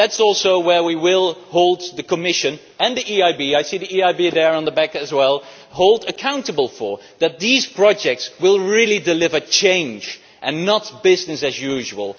That is also what we will hold the Commission and the EIB I see the EIB there at the back as well accountable for that these projects will really deliver change and not business as usual.